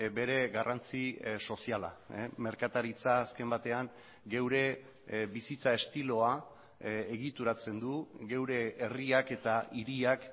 bere garrantzi soziala merkataritza azken batean geure bizitza estiloa egituratzen du geure herriak eta hiriak